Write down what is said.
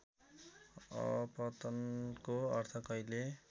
अपतनको अर्थ कहिले